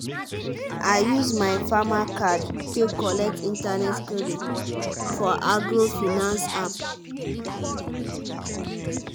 i use my farmer card take collect internet credit for agro-finance app.